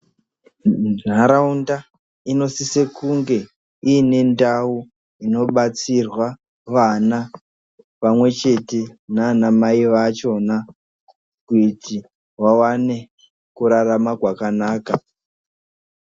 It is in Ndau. Muntaraunda inosise kunge iine ndau inobatsirwa vana pamwe chete nana mai vachona kuti vawane kurarama kwakanaka.